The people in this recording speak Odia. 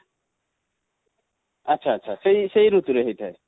ଆଚ୍ଛା ଆଚ୍ଛା ସେଇ, ସେଇ ଋତୁ ରେ ହେଇ ଥାଏ?